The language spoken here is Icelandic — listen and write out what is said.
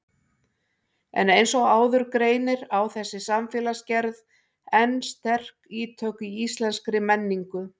En eins og áður greinir á þessi samfélagsgerð enn sterk ítök í íslenskri menningu.